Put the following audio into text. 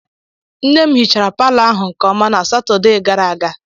Nne m hichara palọ ahụ nke ọma na Satọde gara aga.